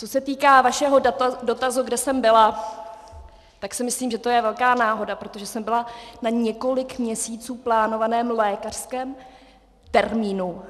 Co se týká vašeho dotazu, kde jsem byla, tak si myslím, že to je velká náhoda, protože jsem byla na několik měsíců plánovaném lékařském termínu.